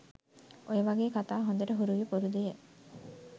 ඔය වාගේ කතා හොඳට හුරුය පුරුදුය